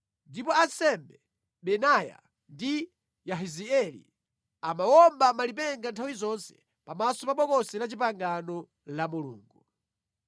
ndipo ansembe Benaya ndi Yahazieli amawomba malipenga nthawi zonse pamaso pa Bokosi la Chipangano la Mulungu.